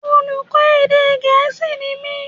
Olùkọ́ èdè gẹ̀é̩sì ni mí